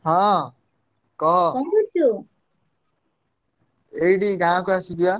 ହଁ କହ ଏଇଠି ଗାଁକୁ ଆସିଛି ବା।